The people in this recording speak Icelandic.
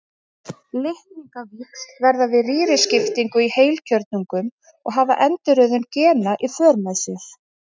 Litningavíxl verða við rýriskiptingu í heilkjörnungum og hafa endurröðun gena í för með sér.